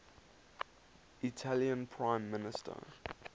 italian prime minister